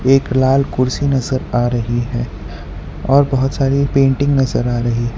एक लाल कुर्सी नजर आ रही है और बहुत सारी पेंटिंग नजर आ रही है।